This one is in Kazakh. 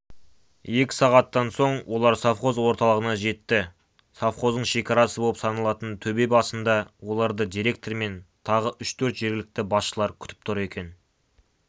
екі сағаттан соң олар совхоз орталығына жетті совхоздың шекарасы боп саналатын төбе басында оларды директор мен тағы үш-төрт жергілікті басшылар күтіп тұр екен